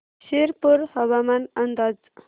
शिरपूर हवामान अंदाज